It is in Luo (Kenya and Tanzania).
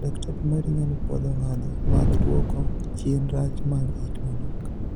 Daktari mari nyalo puodho ngadho mag duoko chien rach mag it manok.